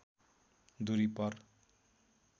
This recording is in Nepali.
दूरी पर